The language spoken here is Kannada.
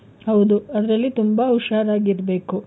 ಹೌದು. ಅದ್ರಲ್ಲಿ ತುಂಬಾ ಉಷಾರಾಗಿರ್ಬೇಕು.